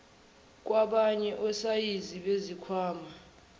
kwabanye osayizi bezikhwama